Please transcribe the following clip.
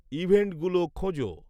ইভেন্টগুলো খোঁজো